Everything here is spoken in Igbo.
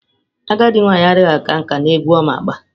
Agadi nwanyi adighi aka nka n'egwu Oma agba.